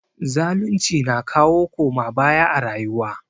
Zalunci na kawo koma baya a rayuwa.